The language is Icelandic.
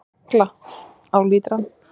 Agla: Á lítrann.